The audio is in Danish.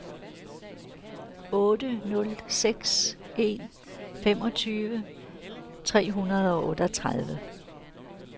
otte nul seks en femogtyve tre hundrede og otteogtredive